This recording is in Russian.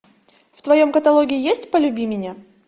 в твоем каталоге есть полюби меня